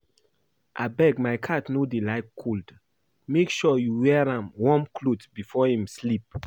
Abeg my cat no dey like cold make sure you wear an warm cloth before im sleep